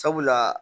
Sabula